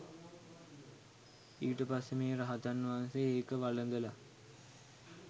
ඊට පස්සේ මේ රහතන් වහන්සේ ඒක වළඳලා